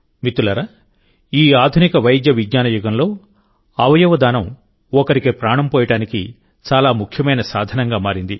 మిత్రులారాఈ ఆధునిక వైద్య విజ్ఞాన యుగంలోఅవయవ దానం ఒకరికి ప్రాణం పోయడానికి చాలా ముఖ్యమైన సాధనంగా మారింది